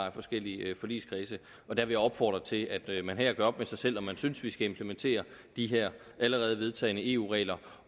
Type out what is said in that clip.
af forskellige forligskredse jeg vil opfordre til at man her gør op med sig selv om man synes at vi skal implementere de her allerede vedtagne eu regler